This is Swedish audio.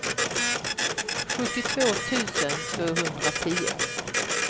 sjuttiotvå tusen tvåhundratio